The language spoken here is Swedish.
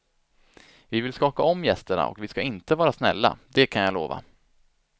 Vi vill skaka om gästerna och vi ska inte vara snälla, det kan jag lova.